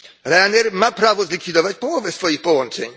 Ryanair ma prawo zlikwidować połowę swoich połączeń.